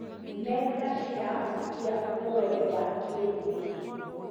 Nenda cirahutia ũrori wa kĩrũrĩrĩ.